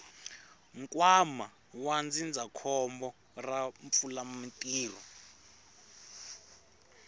nkwama wa ndzindzakhombo ra vupfumalantirho